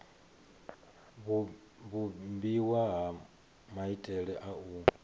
vhumbiwa ha maitele a u